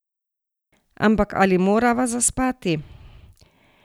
Ampak ali morava zaspati?